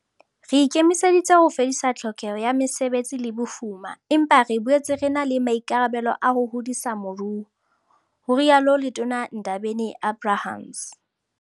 "Re ikemiseditse ho fedisa tlhokeho ya mesebetsi le bofuma, empa re boetse re na le maikarabelo a ho hodisa moruo," ho rialo Letona Ndabeni-Abrahams.